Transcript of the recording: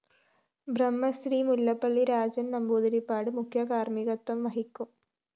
ബ്രഹ്മശ്രീ മുല്ലപ്പള്ളി രാജന്‍ നമ്പൂതിരിപ്പാട് മുഖ്യ കാര്‍മ്മികത്വം വഹിക്കും